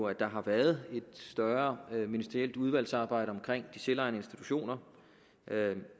at der har været et større ministerielt udvalgsarbejde omkring de selvejende institutioner